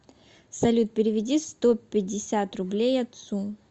салют переведи сто пятьдесят рублей отцу